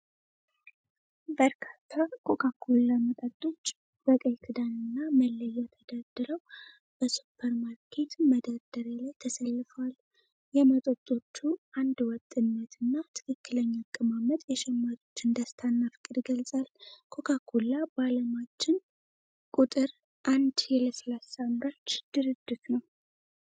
በርካታ ኮካ ኮላ መጠጦች በቀይ ክዳንና መለያ ተደርድረው፣ በሱፐርማርኬት መደርደሪያ ላይ ተሰልፈዋል። የመጠጦቹ አንድ ወጥነት እና ትክክለኛ አቀማመጥ የሸማቾችን ደስታ እና ፍቅር ይገልፃል። ኮካ ኮላ በአለማችን ቁጥር አንድ የለስላሳ አምራች ድርጅት ነው።